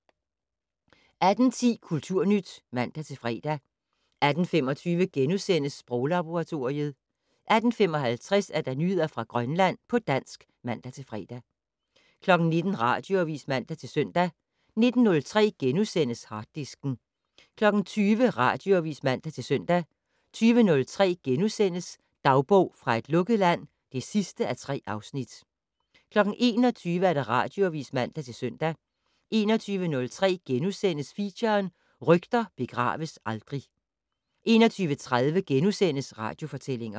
18:10: Kulturnyt (man-fre) 18:25: Sproglaboratoriet * 18:55: Nyheder fra Grønland på dansk (man-fre) 19:00: Radioavis (man-søn) 19:03: Harddisken * 20:00: Radioavis (man-søn) 20:03: Dagbog fra et lukket land (3:3)* 21:00: Radioavis (man-søn) 21:03: Feature: Rygter begraves aldrig * 21:30: Radiofortællinger *